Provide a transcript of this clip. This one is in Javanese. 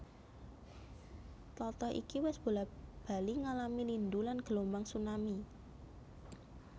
Tlatah iki wis bola bali ngalami lindhu lan gelombang tsunami